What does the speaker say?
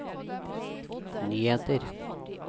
nyheter